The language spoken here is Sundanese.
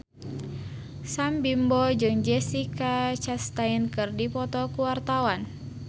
Sam Bimbo jeung Jessica Chastain keur dipoto ku wartawan